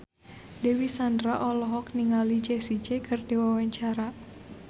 Dewi Sandra olohok ningali Jessie J keur diwawancara